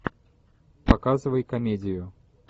показывай комедию